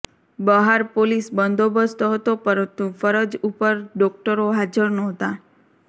બહાર પોલીસ બંદોબસ્ત હતો પરંતુ ફરજ ઉપર ડોક્ટરો હાજર ન્હોતા